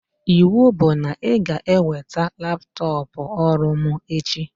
Iwu bụ na ị ga-eweta laptọpụ ọrụ mụ echi!